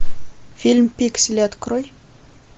фильм пиксели открой